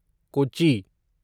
Kochi